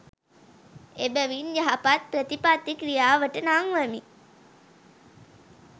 එබැවින් යහපත් ප්‍රතිපත්ති ක්‍රියාවට නංවමින්